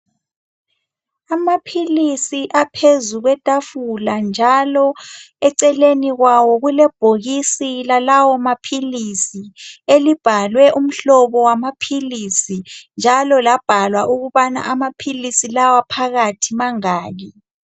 Amaphilisi aphezu kwethafula njalo eceleni kwawo kulebhokisi lalawo maphilisi. Elibhalwe umhlobo wamaphilisi njalo labhalwa ukubana amaphilisi lawa phakathi mangaki.